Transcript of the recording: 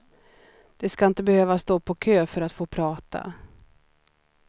De ska inte behöva stå på kö för att få prata.